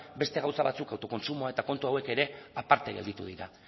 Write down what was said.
beste gauza batzuk autokontsumoa eta kontu hauek ere aparte gelditu dira